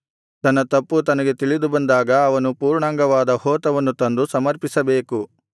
ತನ್ನ ತಪ್ಪು ತನಗೆ ತಿಳಿದುಬಂದಾಗ ಅವನು ಪೂರ್ಣಾಂಗವಾದ ಹೋತವನ್ನು ತಂದು ಸಮರ್ಪಿಸಬೇಕು